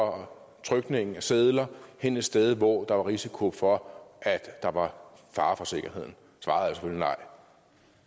og trykningen af sedler hen et sted hvor der var risiko for at der var fare for sikkerheden svaret